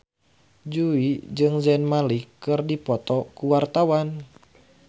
Jui jeung Zayn Malik keur dipoto ku wartawan